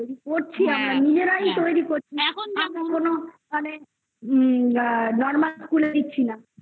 তৈরি করছি আমরা. নিজেরাই তৈরি করছি এখন কোন মানে normal school এ দিচ্ছি না।